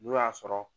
N'o y'a sɔrɔ